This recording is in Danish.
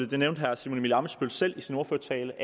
det nævnte herre simon emil ammitzbøll selv i sin ordførertale